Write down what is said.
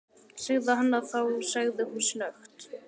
Segðu hana þá- sagði hún snöggt.